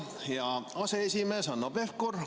Hea aseesimees Hanno Pevkur!